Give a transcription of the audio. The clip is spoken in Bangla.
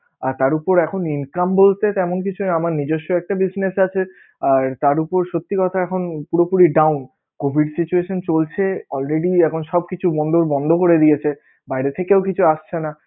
তার উপর এখন income বলতে তেমন কিছু নেই আমার নিজস্ব একটা business আছে আর তার উপর সত্যি কথা এখন পুরোপুরি downcovid situation চলছে, already এখন সব কিছু বন্দ~ বন্ধ করে দিয়েছে, বাইরে থেকেও কিছু আসছে না